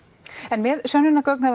en með sönnunargögnin